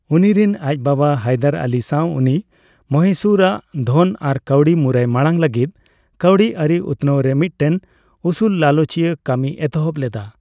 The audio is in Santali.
ᱩᱱᱤᱨᱮᱱ ᱟᱡ ᱵᱟᱵᱟ ᱦᱟᱭᱫᱟᱨ ᱟᱞᱤ ᱥᱟᱣ ᱩᱱᱤ ᱢᱚᱦᱤᱥᱩᱨ ᱟᱜ ᱰᱷᱚᱱ ᱟᱨ ᱠᱟᱹᱣᱰᱤ ᱢᱩᱨᱟᱭ ᱢᱟᱲᱟᱝ ᱞᱟᱹᱜᱤᱫ ᱠᱟᱣᱰᱤ ᱟᱹᱨᱤ ᱩᱛᱱᱟᱣᱨᱮ ᱢᱤᱫᱴᱮᱱ ᱩᱥᱩᱞᱞᱟᱞᱪᱤᱭᱟ ᱠᱟᱹᱢᱤ ᱮᱛᱦᱚᱵ ᱞᱮᱫᱟ᱾